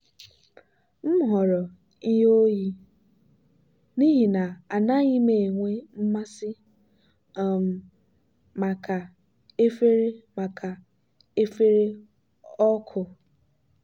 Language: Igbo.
m họọrọ ihe oyi n'ihi na anaghị m enwe mmasị um maka efere maka efere ọkụ.